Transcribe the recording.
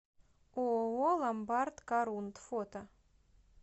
ооо ломбард корунд фото